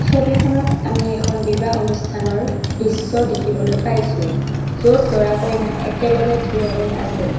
ছবিখনত আমি এখন বিবাহ অনুষ্ঠানৰ দৃশ্য দেখিবলৈ পাইছোঁ য'ত দৰা কইনা একেলগে থিয় হৈ আছে।